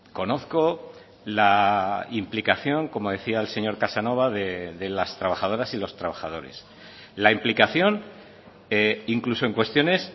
conozco la implicación como decía el señor casanova de las trabajadoras y los trabajadores la implicación incluso en cuestiones